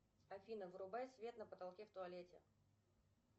афина вырубай свет на потолке в туалете